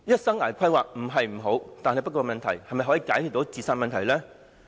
生涯規劃不是不好，但是否可解決青年自殺的問題呢？